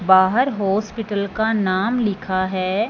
बाहर हॉस्पिटल का नाम लिखा है--